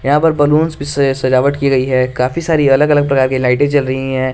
यहां पर बैलून से सजावट की गई है काफी सारी अलग अलग प्रकार की लाइटें जल रही हैं।